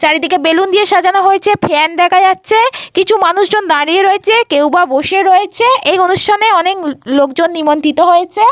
চারিদিকে বলুন দিয়ে সাজানো হয়েছে। ফ্যান দেখা যাচ্ছে। কিছু মানুষজন দাঁড়িয়ে রয়েছে কেউ বা বসে রয়েছে। এই অনুষ্ঠানে অনেক লো লোকজন নিমন্ত্রিত হয়েছে।